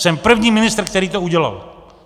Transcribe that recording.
Jsem první ministr, který to udělal.